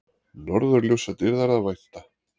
Norðurljósadýrðar að vænta